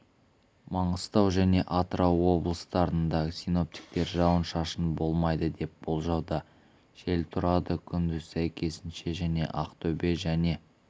маңғыстау және атырау облыстарында синоптиктер жауын-шашын болмайды деп болжауда жел тұрады күндіз сәйкесінше және ақтөбе және